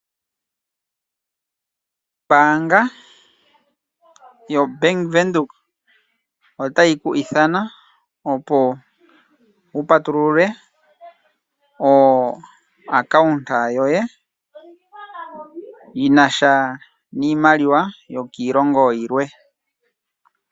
Ombaanga yoBank Windhoek otayi ku ithana opo wu patulule o account yoye yinasha niimaliwa yokiilongo yilwe.